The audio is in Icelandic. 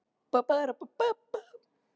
Hvernig gastu þagað og tekið af mér allan rétt?